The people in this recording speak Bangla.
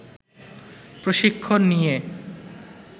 প্রশিক্ষণ নিয়ে